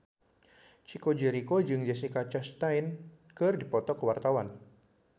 Chico Jericho jeung Jessica Chastain keur dipoto ku wartawan